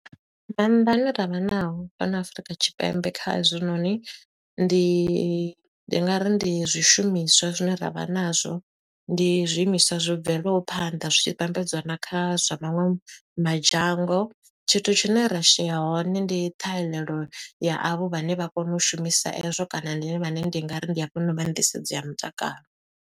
Maanḓa ane ra vha nao fhano Afurika Tshipembe kha hezwinoni. Ndi ndi nga ri ndi zwishumiswa zwine ra vha nazwo, ndi zwiimiswa zwo bveleho phanḓa zwi tshi vhambedzwa na kha zwa maṅwe madzhango. Tshithu tshine ra shela hone ndi ṱhahelelo ya avho vhane vha kone u shumisa e zwo, kana ndi vhane ndi nga ri ndi vha nḓisedzo ya mutakalo.